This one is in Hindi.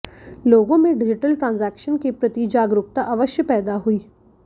लोगों में डिजिटल ट्रांजेक्शन के प्रति जागरूकता अवश्य पैदा हुई